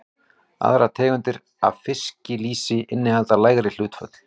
Aðrar tegundir af fiskilýsi innihalda lægri hlutföll.